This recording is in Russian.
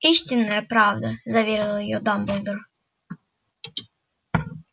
истинная правда заверил её дамблдор